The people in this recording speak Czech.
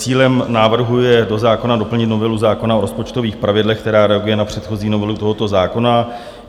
Cílem návrhu je do zákona doplnit novelu zákona o rozpočtových pravidlech, která reaguje na předchozí novelu tohoto zákona.